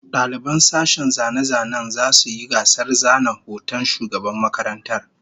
Daliban sashen zane-zanen zasu yi gasar zana hoton shugaban makarantar